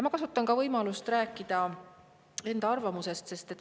Ma kasutan ka võimalust rääkida enda arvamusest.